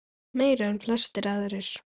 Meira en flestir aðrir.